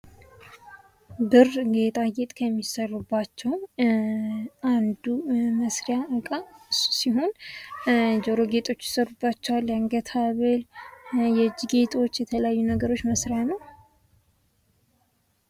ብር ጌጣጌጥ ከሚሰሩባቸው አንዱ መስሪያ እቃ እሱ ሲሆን፤ ጆሮ ጌጦች ይሰሩባቸዋል የአንገት ሐብል የእጅ ጌጦች የተለያዩ ነገሮች መሳሪያ ነው።